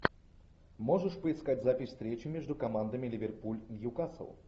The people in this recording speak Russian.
можешь поискать запись встречи между командами ливерпуль ньюкасл